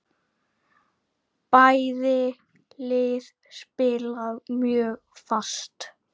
Bæði lið spila mjög fast.